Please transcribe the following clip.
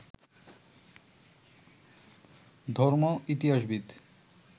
ধর্ম, ইতিহাসবিদ